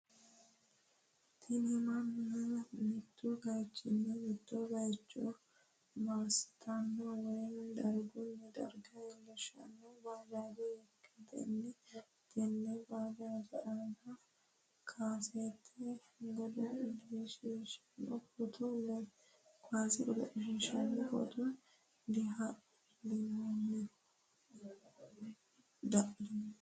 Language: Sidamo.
Tini manna mittu bayiichini mitto bayiicho massitanno woye dargunni darga iillishshanno bajaaje ikkitanna tenne bajaaje aana kaasete godo'laasini photo dhallinoonni.